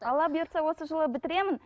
алла бұйыртса осы жылы бітіремін